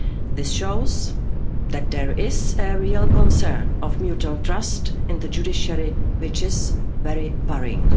This shows that there is a real concern of mutual trust in the judiciary, which is very worrying.